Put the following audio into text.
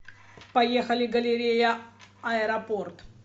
поехали галерея аэропорт